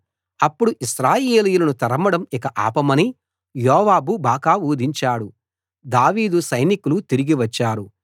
అప్పుడు ఇశ్రాయేలీయులను తరమడం ఇక ఆపమని యోవాబు బాకా ఊదించాడు దావీదు సైనికులు తిరిగి వచ్చారు